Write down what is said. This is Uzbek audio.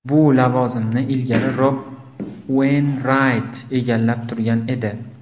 Bu lavozimni ilgari Rob Ueynrayt egallab turgan edi.